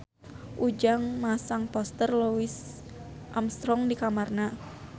Ujang masang poster Louis Armstrong di kamarna